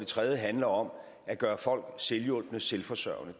tredje handler om at gøre folk selvhjulpne selvforsørgende